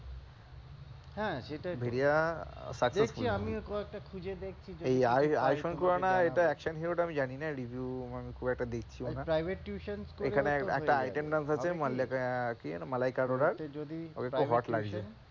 হ্যাঁ ভেড়িয়া successful হয়েছে। Ayushmann Khurrana action hero টা আমি জানিনা review খুব একটা দেখছিও না, এখানে একটা item dance আছে কি যেন মালাইকা অরোরার, ওকে খুব hot লাগছে।